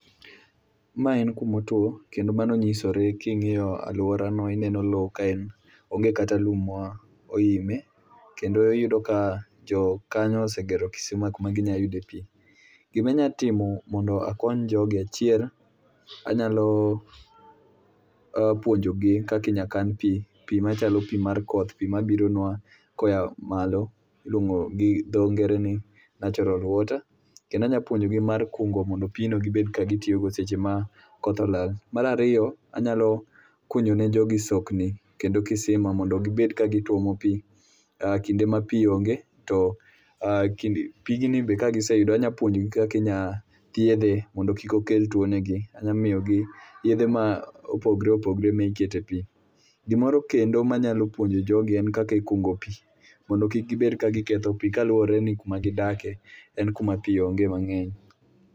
Mae en kuma otuo kendo mano nyisore king'iyo aluorano ineno lowo kae onge kata lum ma oime kendo iyudo ka jokanyo osegero kisima kuma ginyalo yude pi. Gima anyalo timo mondo akony jogi , achiel anyalo puonjogi kaka inyalo kan pi, pi machalo pi mar koth, pi mabironua koa malo miluongo gi dho ngere ni natural water. Kendo anyalo puonjogi mar kungo mondo pigno gnyalo tiyo go seche ma koth olal. Mar ariyo anyalo kunyo ni jogi sokni kendo kisima mondo gibed ka gituomo pi kinde ma pi onge. Pigni be kagiseyudo anyalo pion jogi kaka inyalo thiedhe mondo kik okel tuo negi, anyalo miyogi yedhe mopogore opogore miketo e pi. Gimoro kendo ma anyalo puonjo jogi en kaka ikungo pi, mondo kik kibed ka giketho pi kaluwore ni kuma gidakie en kuma pi onge mang'eny.